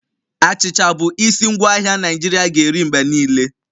Achịcha bụ isi ngwaahịa Naijiria ga-eri mgbe niile